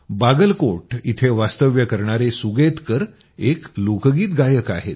बागलकोट इथं वास्तव्य करणारे सुगेतकर एक लोकगीत गायक आहेत